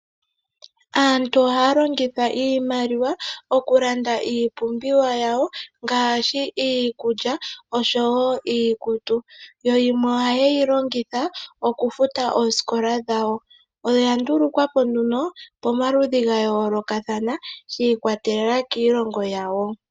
Aantu ohaya longitha iimaliwa oku landa iipumbiwa yawo ngaashi iikulya osho woo iikutu. Yimwe oha yeyi longitha okufuta oosikola dhawo. Oya ndulukwa po pomaludhi ga yoolokathana shi ikwatelela kiilongo yawo.